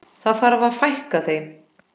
Það þarf að fækka þeim.